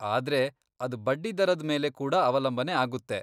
ಆದ್ರೆ ಅದ್ ಬಡ್ಡಿದರದ್ ಮೇಲೆ ಕೂಡಾ ಅವಲಂಬನೆ ಆಗುತ್ತೆ.